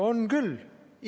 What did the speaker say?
On küll!